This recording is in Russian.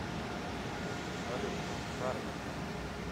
салют харви